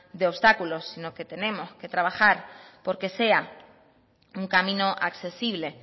de obstáculos sino que tenemos que trabajar porque sea un camino accesible